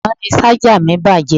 Àná ni Ṣájà mi bàjẹ́